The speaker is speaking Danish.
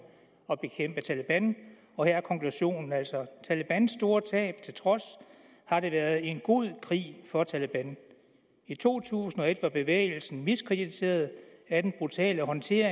at bekæmpe taleban og her er konklusionen altså at talebans store tab til trods har det været en god krig for taleban i to tusind og et var bevægelsen miskrediteret af den brutale håndtering